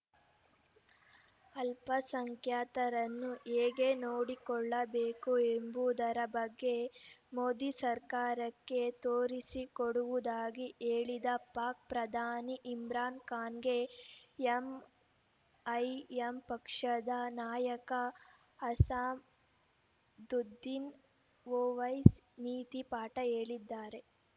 ಅಲ್ಪಸಂಖ್ಯಾತರನ್ನು ಹೇಗೆ ನೋಡಿಕೊಳ್ಳಬೇಕು ಎಂಬುದರ ಬಗ್ಗೆ ಮೋದಿ ಸರ್ಕಾರಕ್ಕೆ ತೋರಿಸಿಕೊಡುವುದಾಗಿ ಹೇಳಿದ್ದ ಪಾಕ್‌ ಪ್ರಧಾನಿ ಇಮ್ರಾನ್‌ ಖಾನ್‌ಗೆ ಎಂಐಎಂ ಪಕ್ಷದ ನಾಯಕ ಅಸಾಂ ದುದ್ದೀನ್‌ ಒವೈಸಿ ನೀತಿ ಪಾಠ ಹೇಳಿದ್ದಾರೆ